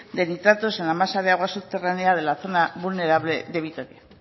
de nitratos en la masa de agua subterránea de la zona vulnerable de vitoria